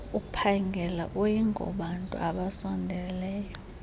uphangela ayingobantu abasondeleyo